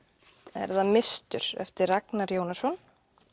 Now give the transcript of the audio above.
er það mistur eftir Ragnar Jónasson